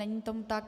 Není tomu tak.